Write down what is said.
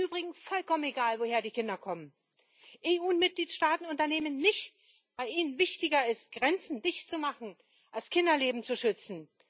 Im Übrigen ist es vollkommen egal, woher die Kinder kommen. Die EU und die Mitgliedstaaten unternehmen nichts, weil ihnen wichtiger ist, Grenzen dichtzumachen, als Kinderleben zu schützen.